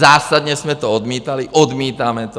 Zásadně jsme to odmítali, odmítáme to.